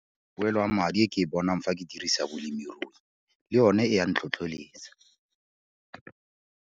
Poelo ya madi e ke e bonang fa ke dirisa bolemirui le yone e a ntlhotlheletsa.